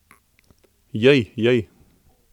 Jej, jej.